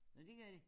Nå dét gør de?